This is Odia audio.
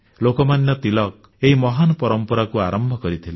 ଲୋକମାନ୍ୟ ତିଳକ ଏହି ମହାନ ପରମ୍ପରାକୁ ଆରମ୍ଭ କରିଥିଲେ